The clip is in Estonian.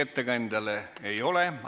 Ettekandjale küsimusi ei ole.